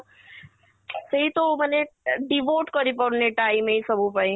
ସେଇତ ଓ ମାନେ devote କରି ପାରୁନି time ଏଇ ସବୁ ପାଇଁ